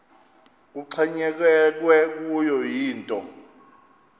kuxhonyekekwe kuyo yinto